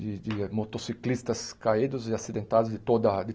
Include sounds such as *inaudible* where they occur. De de motociclistas caídos e acidentados de toda a *unintelligible*